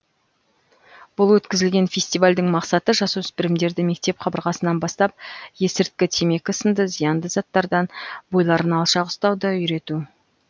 бұл өткізілген фестивальдің мақсаты жасөспірімдерді мектеп қабырғасынан бастап есірткі темекі сынды зиянды заттардан бойларын алшақ ұстауды үйрету